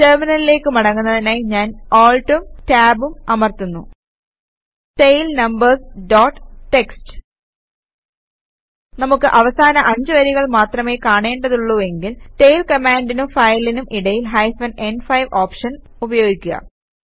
ടെർമിനലിലേക്ക് മടങ്ങുന്നതിനായി ഞാൻ ALTഉം Tabഉം അമർത്തുന്നു ടെയിൽ നമ്പേര്സ് ഡോട്ട് ടിഎക്സ്ടി നമുക്ക് അവസാന 5 വരികൾ മാത്രമേ കാണേണ്ടതുള്ളൂവെങ്കിൽ ടെയിൽ കമാൻഡിനും ഫയലിനും ഇടയിൽ ഹൈഫൻ ന്5 ഓപ്ഷൻ ഉപയോഗിക്കുക